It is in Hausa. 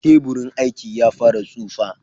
Teburin aikin ya fara tsufa.